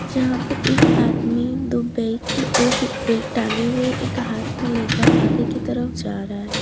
जहां पे एक आदमी दो व्यक्ति एक बैग टंगे हुए एक हाथ में लेकर आगे की तरफ जा रहा है।